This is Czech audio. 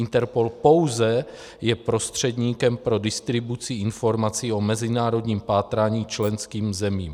Interpol pouze je prostředníkem pro distribuci informací o mezinárodním pátrání členským zemím.